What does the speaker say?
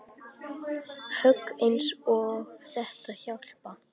Högg eins og þetta hjálpa